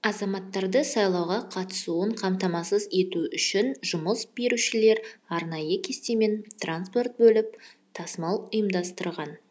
азаматтарды сайлауға қатысуын қамтамасыз ету үшін жұмыс берушілер арнайы кестемен транспорт бөліп тасымал ұйымдастырған